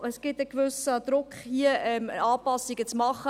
Es gibt einen gewissen Druck, hier Anpassungen zu machen.